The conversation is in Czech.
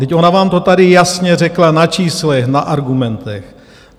Vždyť ona vám to tady jasně řekla na číslech, na argumentech.